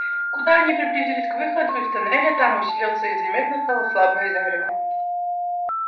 куда они приблизились к выходу из туннеля там усилился и заметно стало слабое зарево